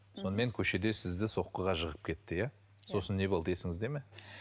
сонымен көшеде сізді соққыға жығып кетті иә сосын не болды есіңізде ме